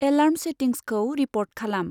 Alarm सेटिंसखौ repeat खालाम।